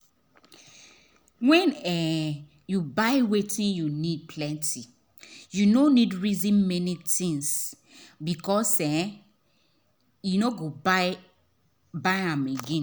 when um you buy wetin you need plenty you no neeed reason many things because you um no go buy am again